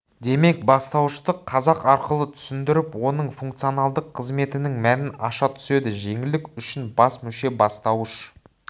демек бастауышты қазық арқылы түсіндіріп оның функционалдық қызметінің мәнін аша түседі жеңілдік үшін бас мүше бастауыш